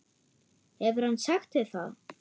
Hefur hann sagt þér það?